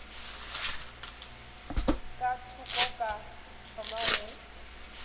ka thoko ka thoma go